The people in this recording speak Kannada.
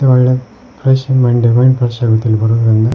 ಇದು ಒಳ್ಳೆ ಫ್ರೆಶ್ ಮೈಂಡ್ ಮೈಂಡ್ ಫ್ರೆಶ್ ಆಗುತ್ತ ಇಲ್ಲಿ ಬರೋದ್ರಿಂದ.